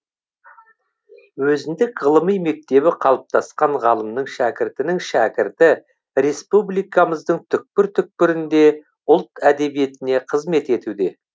өзіндік ғылыми мектебі қалыптасқан ғалымның шәкірттерінің шәкірті республикамыздың түкпір түкпірінде ұлт әдебиетіне қызмет етуде